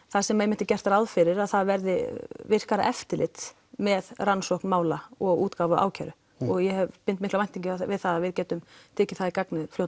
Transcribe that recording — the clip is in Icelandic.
þar sem einmitt er gert ráð fyrir að það verði virkara eftirlit með rannsókn mála og útgáfu ákæru ég bind miklar væntingar við það að við getum tekið það í gagnið